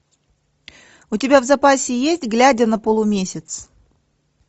у тебя в запасе есть глядя на полумесяц